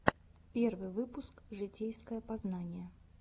первый выпуск житейское познание